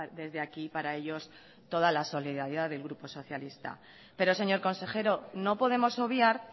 desde aquí para ellos toda la solidaridad del grupo socialista pero señor consejero no podemos obviar